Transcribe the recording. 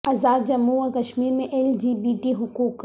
ازاد جموں و کشمیر میں L G B T حقوق